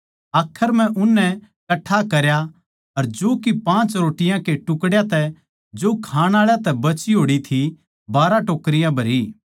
आखर म्ह उननै कट्ठा करया अर जौ की पाँच रोटियाँ के टुकड़्यां तै जो खाण आळा तै बची होड़ थी बारहा टोकरी भरी